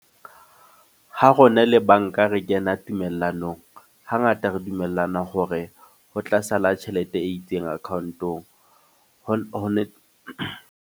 Ho rona le banka re kena tumellanong. Hangata re dumellana hore ho tla sala tjhelete e itseng account-ong. Ho .